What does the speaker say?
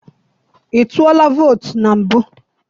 I tụọla vootu na mbụ?